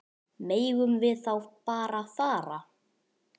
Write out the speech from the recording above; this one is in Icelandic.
Megum við þá bara fara?